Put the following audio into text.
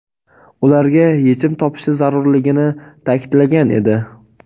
ularga yechim topishi zarurligini ta’kidlagan edi.